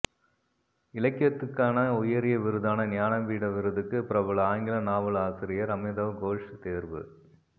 இலக்கியத்துக்கான உயரிய விருதான ஞான பீட விருதுக்கு பிரபல ஆங்கில நாவல் ஆசிரியர் அமிதவ் கோஷ் தேர்வு